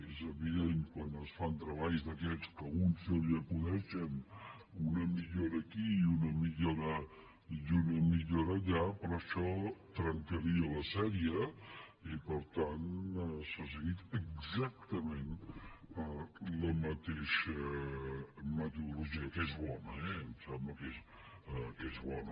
és evident quan es fan treballs d’aquests que a un se li acudeixen una millora aquí i una millora allà però això trencaria la sèrie i per tant s’ha seguit exactament la mateixa metodologia que és bona eh em sembla que és bona